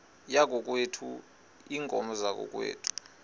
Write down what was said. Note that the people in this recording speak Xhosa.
yakokwethu iinkomo zakokwethu